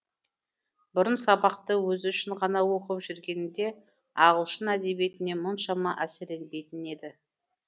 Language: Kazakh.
бұрын сабақты өзі үшін ғана оқып жүргенінде ағылшын әдебиетіне мұншама әсерленбейтін еді